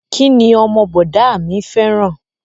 Kí ni ọmọ bọ̀dá a mi fẹ́ràn?